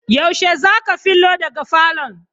Yaushe zaka filo daga falon?